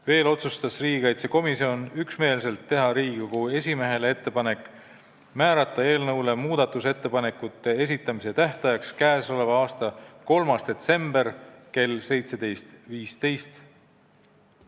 Veel otsustas riigikaitsekomisjon üksmeelselt teha Riigikogu esimehele ettepaneku määrata eelnõu muudatusettepanekute esitamise tähtajaks k.a 3. detsember kell 17.15.